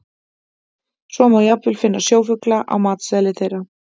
Svo má jafnvel finna sjófugla á matseðli þeirra.